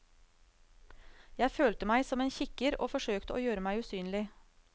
Jeg følte meg som en kikker, og forsøkte å gjøre meg usynlig.